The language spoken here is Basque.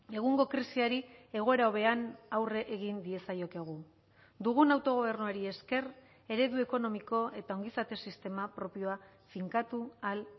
egungo krisiari egoera hobean aurre egin diezaiokegu dugun autogobernuari esker eredu ekonomiko eta ongizate sistema propioa finkatu ahal